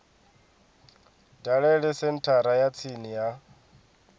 dalele senthara ya tsini ya